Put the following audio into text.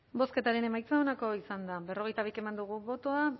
bozketaren emaitza onako izan da berrogeita bi eman dugu bozka